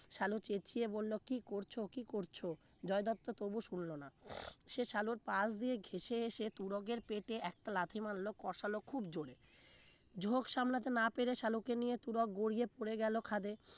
সালু চেচিয়ে বলল কি করছো কি করছো জয় দত্ত তবু শুনবে না সে সালুর পাশ দিয়ে ঘেষে এসে তুরাগের পেটে এক লাথি মারলো কষানো খুব জোরে ঝোঁক সামলাতে না পেরে শালুকে নিয়ে তুরক গড়িয়ে পড়ে গেল খাদে